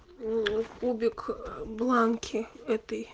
кубик бланки этой